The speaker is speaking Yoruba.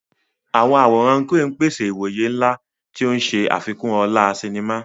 Àwọn àwòrán crane ń pèsè ìwòye ńlá, tí ó ń ṣe àfikún ọlá sinimá.